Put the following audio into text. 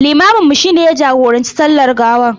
Limaminmu shi ne ya jagoranci sallar gawar.